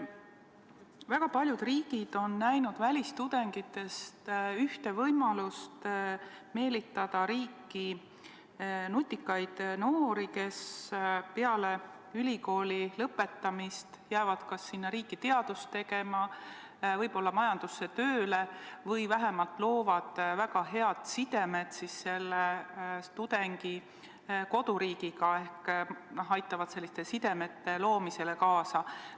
Väga paljud riigid on näinud välistudengites ühte võimalust meelitada riiki nutikaid noori, kes peale ülikooli lõpetamist jäävad sinna riiki teadust tegema, võib-olla asuvad seal tööle või vähemalt loovad väga head sidemed tudengi koduriigiga ehk aitavad selliste sidemete loomisele kaasa.